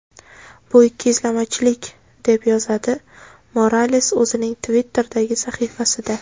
Bu ikkiyuzlamachilik”, deb yozadi Morales o‘zining Twitter’dagi sahifasida.